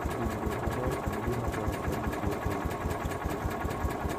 Tudruok maber en gima ber ka nitie ei ot.